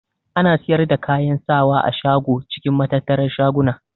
Ana siyar da kayan sawa a shago cikin matattarar shaguna.